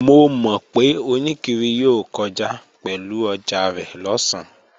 Mo mọ̀ pé oníkiri yóò kọjá pẹ̀lú ọjà rẹ̀ lọ̀sán